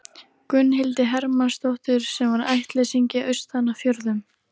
Gunnhildi Hermannsdóttur, sem var ættleysingi austan af fjörðum.